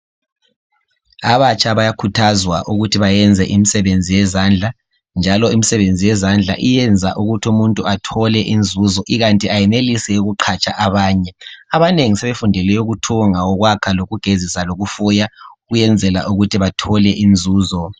abatsha bayakhuthazwa ukuthi bayenze imisebenzi yezandla njaloimisebenzi yezandla iyayenza ukuthi umuntu athole inzuzo ikanti ayenelise ukuqatsha abanye abanengi sebefundele ukuthunga ukwakha lokugezisa lokufuya ukwenzla ukuthi bathole inzuzo